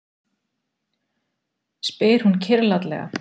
spyr hún kyrrlátlega.